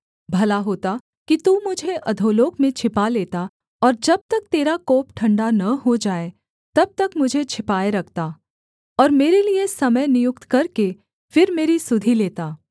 भला होता कि तू मुझे अधोलोक में छिपा लेता और जब तक तेरा कोप ठण्डा न हो जाए तब तक मुझे छिपाए रखता और मेरे लिये समय नियुक्त करके फिर मेरी सुधि लेता